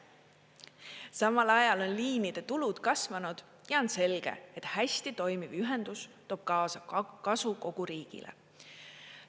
Samal ajal on liinide tulud kasvanud ja on selge, et hästi toimiv ühendus toob kaasa kasu kogu riigile.